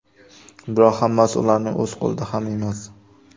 Biroq hammasi ularning o‘z qo‘lida ham emas.